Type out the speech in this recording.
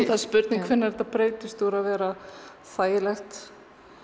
það er spurning hvenær þetta breytist úr því að vera þægilegt